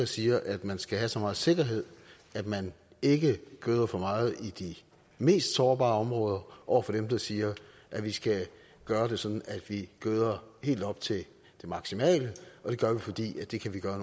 siger at man skal have så meget sikkerhed at man ikke gøder for meget i de mest sårbare områder og dem der siger at vi skal gøre det sådan at vi gøder helt op til det maksimale og det gør vi fordi det kan vi gøre